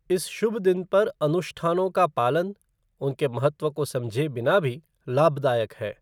इस शुभ दिन पर अनुष्ठानों का पालन, उनके महत्व को समझे बिना भी, लाभदायक है।